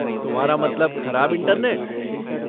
तुम्हारा मतलब ख़राब इंटरनेट?